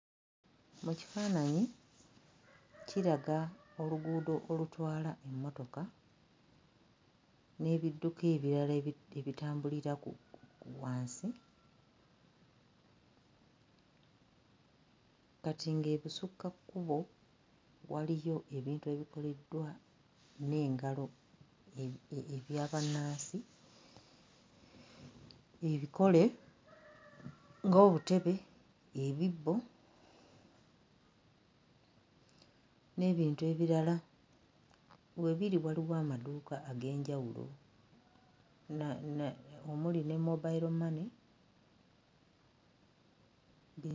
Mu kifaananyi kiraga oluguudo olutwala emmotoka n'ebidduka ebirala ebi ebitambulira ku wansi kati ng'ebusukkakkubo waliyo ebintu ebikoleddwa n'engalo e e ebya bannansi ebikole ng'obutebe, ebibbo n'ebintu ebirala we biri waliwo amaduuka ag'enjawulo na na omuli ne mobile money.